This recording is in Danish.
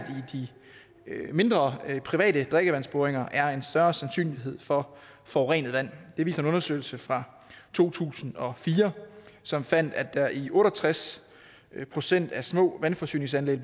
i de mindre private drikkevandsboringer er en større sandsynlighed for forurenet vand det viser en undersøgelse fra to tusind og fire som fandt at der i otte og tres procent af små vandforsyningsanlæg